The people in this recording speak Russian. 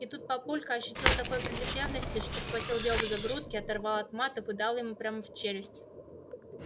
и тут папулька ощутил такой прилив ревности что схватил леву за грудки оторвал от матов и дал ему прямо в челюсть